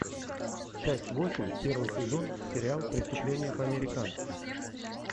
часть восемь первый сезон сериал преступление по американски